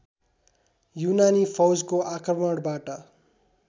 युनानी फौजको आक्रमणबाट